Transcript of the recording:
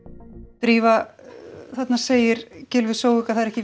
drífa þarna segir Gylfi Zoega það er ekki